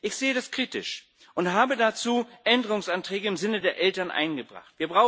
Ich sehe das kritisch und habe dazu Änderungsanträge im Sinne der Eltern eingebracht.